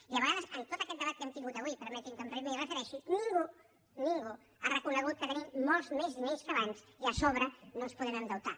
i a vegades amb tot aquest debat que hem tingut avui permeti’m que m’hi refereixi ningú ningú ha reconegut que tenim molts menys diners que abans i a sobre no ens podem endeutar